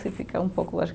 Você fica um pouco, acho que